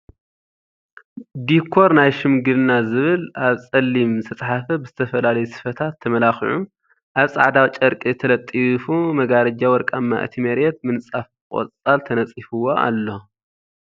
ዲኮር ናይ ሽምግልና ዝብል ኣብ ፀሊም ዝተፃሐፈ ብ ዝተፈላለዩ ስፈታት ተመላኪዑ ኣብ ፃዕዳ ጨርቂ ተለጢፉ መጋረጃ ወርቃማ እቲ መርየት ምንፃፍ ቆፃል ተነፂፍዎ ኣሎ።